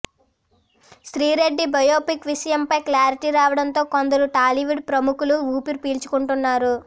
Sri Reddy biopic విషయంపై clarity రావడంతో కొందరు టాలీవుడ్ ప్రముఖులు ఊపిరి ప్చీుకుంటున్నారు